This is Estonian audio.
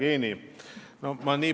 Hea Jevgeni!